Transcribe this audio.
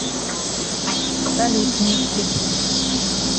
салют микки